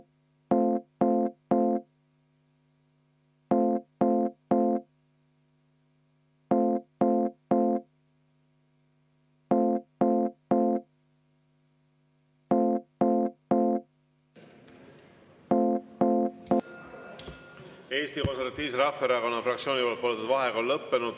Eesti Konservatiivse Rahvaerakonna fraktsiooni palutud vaheaeg on lõppenud.